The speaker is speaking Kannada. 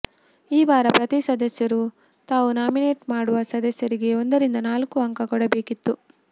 ಈ ವಾರ ಪ್ರತೀ ಸದಸ್ಯರೂ ತಾವು ನಾಮಿನೇಟ್ ಮಾಡುವ ಸದಸ್ಯರಿಗೆ ಒಂದರಿಂದ ನಾಲ್ಕು ಅಂಕ ಕೊಡಬೇಕಿತ್ತು